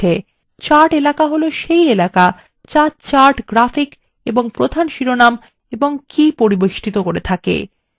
chart এলাকা হল key এলাকা the chart graphic এবং প্রধান শিরোনাম ও key পরিবেষ্ঠিত করে থাকে